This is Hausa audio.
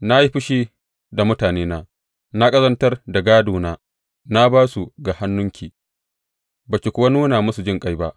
Na yi fushi da mutanena na ƙazantar da gādona; na ba su ga hannunki, ba ki kuwa nuna musu jinƙai ba.